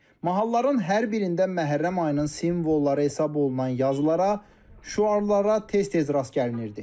Mahalların hər birində Məhərrəm ayının simvolları hesab olunan yazılara, şüarlara tez-tez rast gəlinirdi.